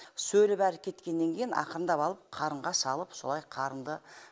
сөлі бәрі кеткеннен кейін ақырындап алып қарынға салып солай қарынды